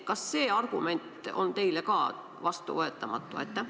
Kas see argument on teile ka vastuvõetamatu?